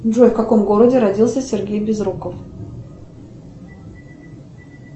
джой в каком городе родился сергей безруков